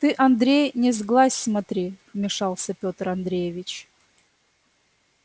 ты андрей не сглазь смотри вмешался пётр андреевич